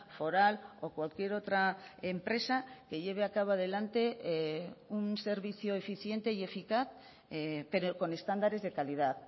foral o cualquier otra empresa que lleve a cabo adelante un servicio eficiente y eficaz pero con estándares de calidad